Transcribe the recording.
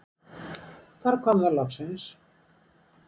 Þar kom það loksins.